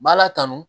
B'a la kanu